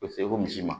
U bɛ se ko misi ma